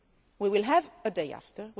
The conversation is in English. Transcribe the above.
We will have a day after